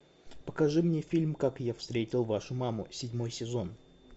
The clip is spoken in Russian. покажи мне фильм как я встретил вашу маму седьмой сезон